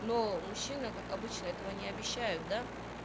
но мужчина как обычно этого не обещают да